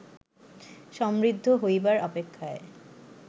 সমৃদ্ধ হইবার অপেক্ষায়